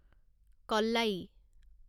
কল্লায়ী